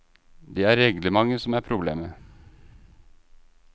Det er reglementet som er problemet.